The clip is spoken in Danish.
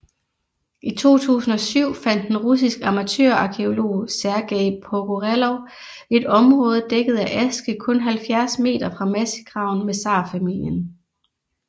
I 2007 fandt en russisk amatørarkæolog Sergej Pogorelov et område dækket af aske kun 70 m fra massegraven med zarfamilien